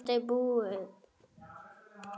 Þetta er búið.